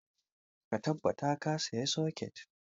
Ka tabbata ka saya socket!